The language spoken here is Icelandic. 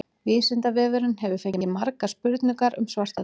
Vísindavefurinn hefur fengið margar spurningar um svartadauða.